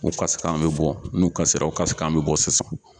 O kasi kan be bɔ n'u kasi la o kasi k'an be bɔ sisan